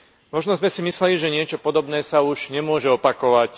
Možno sme si mysleli, že niečo podobné sa už nemôže opakovať.